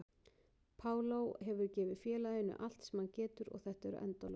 Paulo hefur gefið félaginu allt sem hann getur og þetta eru endalokin.